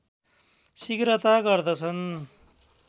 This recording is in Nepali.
शिघ्रता गर्दछन्